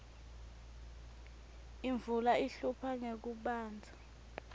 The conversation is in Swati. imvula ihlupha ngekubandza